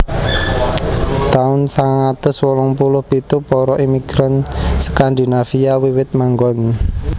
Taun sangang atus wolung puluh pitu Para imigran Skandinavia wiwit manggon